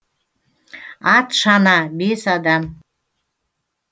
ат шана бес адам